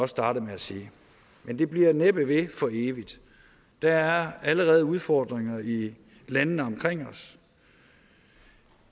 startede med at sige men det bliver næppe ved for evigt der er allerede udfordringer i landene omkring os